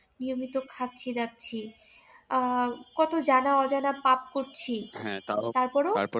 নিয়মিত খাচ্ছি দাচ্ছি আহ কত জানা অজানা পাপ করছি